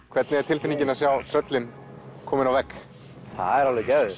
hvernig er tilfinningin að sjá tröllin komin á vegg það er alveg geðveikt